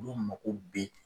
Olu mako bɛ.